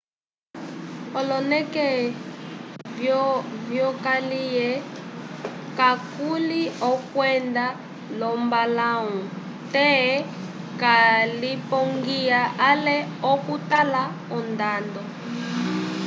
oloneke vyokaliye kakuli okwenda lombalãwu te walipongiya ale okutala ondando